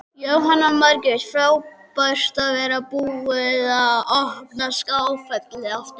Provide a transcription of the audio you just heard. Jóhanna Margrét: Frábært að vera búið að opna Skálafelli aftur?